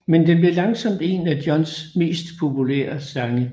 Men den blev langsomt en af Johns mest populære sange